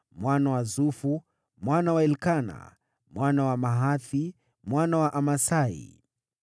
mwana wa Sufu, mwana wa Elikana, mwana wa Mahathi, mwana wa Amasai,